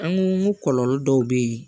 An ko kɔlɔlɔ dɔw bɛ yen